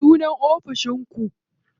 Ya sunan ofishin ku?